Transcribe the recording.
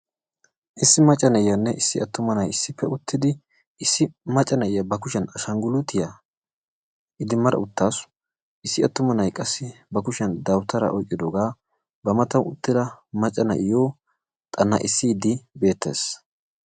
Issi macca na'iyanne issi attuma na'ayi issippe uttidi issi macca na'iya ba kushiyan ashanggiluutiya idimmada uttaasu. Issi attuma na'ayi qassi ba kushiyan dawutaraa oyqqidoogaa ba matan uttida macca na'iyo xanna'issiiddi beettees.